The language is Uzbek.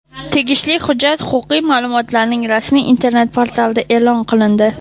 Tegishli hujjat huquqiy ma’lumotlarning rasmiy Internet portalida e’lon qilindi.